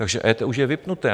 Takže EET už je vypnuté.